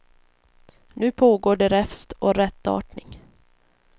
Nu pågår det räfst och rättarting.